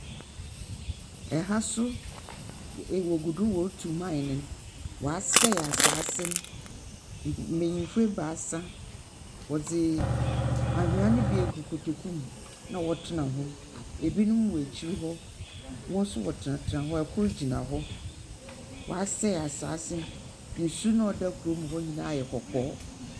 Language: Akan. Ha nso w e wɔgu do woritu mine no. wɔasɛe asase no. m . Mbenyimfo ebaasa wɔdze ahwea no bi egu kotoku mu, na wɔtsena ho. Ebinom wɔ akyir hɔ, wɔn nso wɔtsenatsena hɔ, kor gyina hɔ. Wɔasɛe asase no, na nsuw no a ɔda kurom hɔ no nyinaa ayɛ kɔkɔɔ.